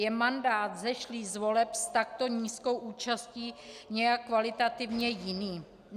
Je mandát vzešlý z voleb s takto nízkou účastí nějak kvalitativně jiný?